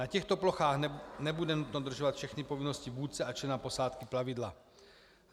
Na těchto plochách nebude nutno dodržovat všechny povinnosti vůdce a člena posádky plavidla.